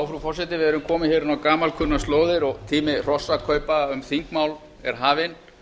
frú forseti við erum komin hér inn á gamalkunnar slóðir og tími hrossakaupa um þingmál er hafinn